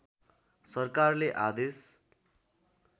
सरकारले आदेश